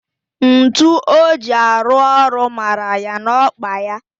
Ntu o ji arụ ọrụ mara ya n'okpa ya